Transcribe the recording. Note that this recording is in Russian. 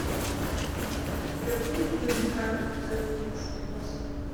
у тебя будет фильм крах эпизод тридцать восемь